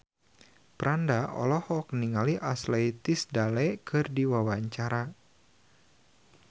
Franda olohok ningali Ashley Tisdale keur diwawancara